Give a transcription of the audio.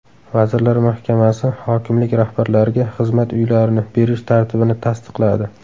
Vazirlar Mahkamasi hokimlik rahbarlariga xizmat uylarini berish tartibini tasdiqladi.